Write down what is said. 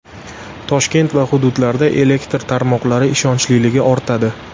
Toshkent va hududlarda elektr tarmoqlari ishonchliligi ortadi.